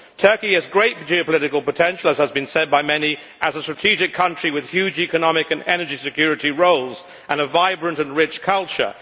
Turkey has great geopolitical potential, as has been said by many, as a strategic country with huge economic and energy security roles and a vibrant and rich culture.